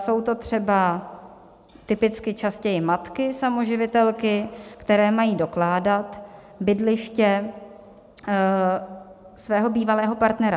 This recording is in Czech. Jsou to třeba typicky častěji matky samoživitelky, které mají dokládat bydliště svého bývalého partnera.